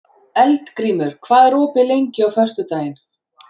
Eldgrímur, hvað er opið lengi á föstudaginn?